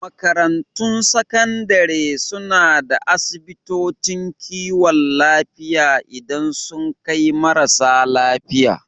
Makarantun Sakandare suna da asibitocin kiwon lafiya idan sun kai marasa lafiya.